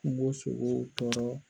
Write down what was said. kungosogo